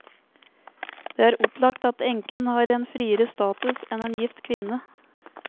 Det er opplagt at enken har en friere status enn en gift kvinne.